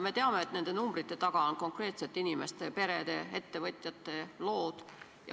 Me teame, et nende numbrite taga on konkreetsete inimeste, perede, ettevõtjate lood.